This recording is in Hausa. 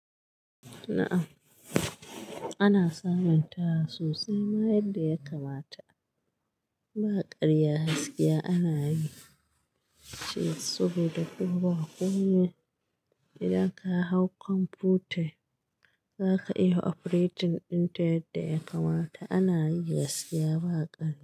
Na'am ana samun ta sosai ma yadda ya kamata ba ƙarya gaskiya ana yi ce saboda ko ba ko ne idan ka hau kwamfuta zaka iya operating ɗin ta yadda ya kamata ana yi gaskiya ba ƙarya.